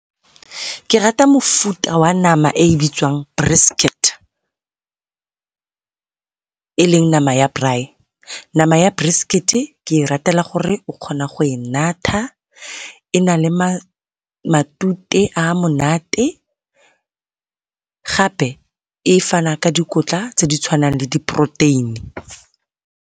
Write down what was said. Ke rata mofuta wa nama e e bitswang brisket, e leng nama ya braai. Nama ya brisket-e ke e ratela gore o kgona go e natha e na le matute a monate gape e fana ka dikotla tse di tshwanang le di poroteini.